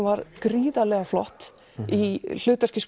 var gríðarlega flott í hlutverki